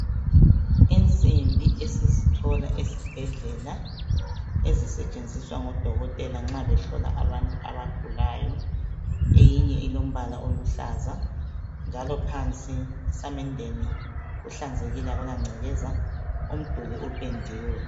Insimbi esizithola esibhedlela ezisetshenziswa ngudokotela nxabehlola abantu abagulayo eyinye ilamabala aluhlaza njalo phansi esamendeni kuhlanzekile akulancekeza umduli upendiwe.